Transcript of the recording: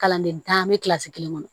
Kalanden tan bɛ kilasi kelen kɔnɔ